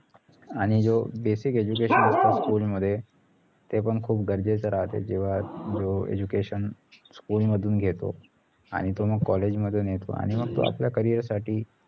आणि जे basic education असतात school मध्ये ते पण खूप गरजेचं राहते जेव्हा जो education school मधून घेतो आणि तो मग college मधून येतो आणि मग तो आपल्या career साठी